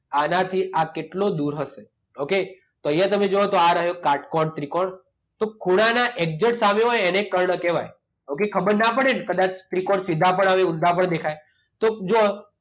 આનાથી આ કેટલો દૂર હશે? ઓકે? તો અહીંયા તમે જુઓ તો આ રહ્યો કાટકોણ ત્રિકોણ. તો ખૂણાનાં એક્ઝેટ સામે હોય એને કર્ણ કહેવાય. ઓકે? ખબર ના પડેને કદાચ ત્રિકોણ સીધા પણ આવે, ઊંધા પણ દેખાય તો જોવો